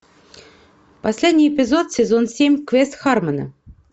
последний эпизод сезон семь квест хармона